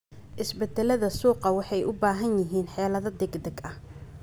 Isbeddellada suuqu waxay u baahan yihiin xeelado degdeg ah.